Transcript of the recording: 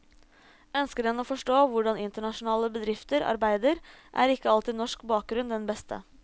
Ønsker en å forstå hvordan internasjonale bedrifter arbeider, er ikke alltid norsk bakgrunn den beste.